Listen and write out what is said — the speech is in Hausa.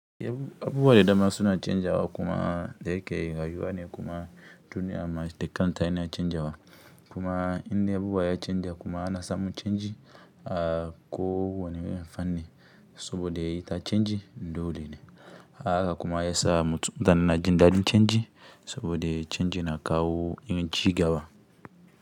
Abuwa da dama suna canjawa kuma da yike rayuwa ne kuma duniya ma da kanta tana canjawa kuma inda abubuwa ya canja kuma ana samu canji a ko wane irin fan ni saboda ita canji dole ne a haka kuma yasa mutane na jin daɗin canji saboda canji na kawo yin cigaba.